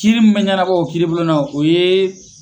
Kiiri min bɛ ɲɛnabɔ o kiiribulon na o ye